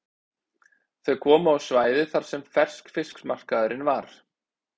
Þau komu á svæðið þar sem ferskfiskmarkaðurinn var.